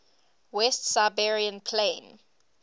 west siberian plain